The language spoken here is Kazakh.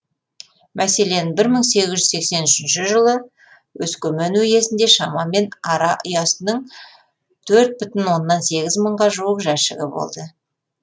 мәселен бір мың сегіз жүз сексен үшінші жылы өскемен уезінде шамамен ара ұясының төрт бүтін оннан сегіз мыңға жуық жәшігі болды